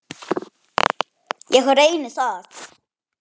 Ég reyni það.